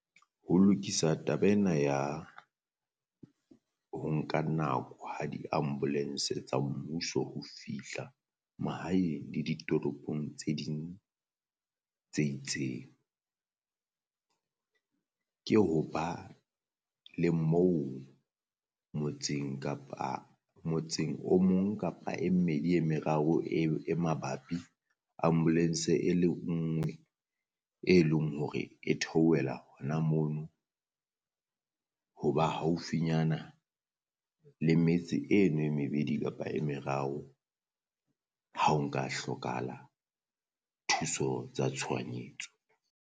Ho lokisa taba ena ya ho nka nako ha di ambulance tsa mmuso ho fihla mahaeng le ditoropong tse ding tse itseng. Ke ho ba le moo motseng kapa motseng o mong kapa e mmedi e meraro e e mabapi ambulance-e e le ngwe e leng hore e theohela hona mono ho ba haufinyana le metse eno e mebedi kapa e meraro ha o nka hlokahala thuso tsa tshohanyetso.